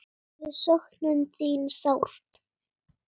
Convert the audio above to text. Við söknum þín sárt.